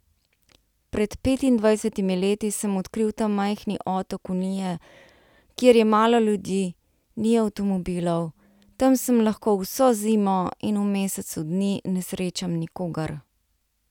Pred petindvajsetimi leti sem odkril ta majhni otok Unije, kjer je malo ljudi, ni avtomobilov, tam sem lahko vso zimo in v mesecu dni ne srečam nikogar.